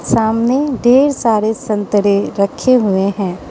सामने ढेर सारे संतरे रखे हुए हैं।